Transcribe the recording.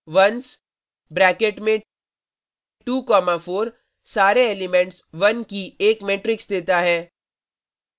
ones bracket में 2 comma 4 सारे elements की एक मेट्रिक्स देता है